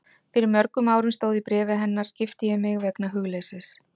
Fyrir mörgum árum stóð í bréfi hennar, gifti ég mig vegna hugleysis.